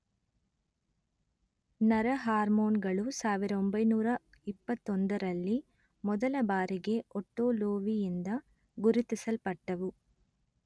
ನರ ಹಾರ್ಮೋನುಗಳು ಸಾವಿರ ಒಂಭೈನೂರಾ ಇಪ್ಪತೊಂದರಲ್ಲಿ ಮೊದಲಬಾರಿಗೆ ಒಟ್ಟೊ ಲೋವಿಯಿಂದ ಗುರುತಿಸಲ್ಪಟ್ಟವು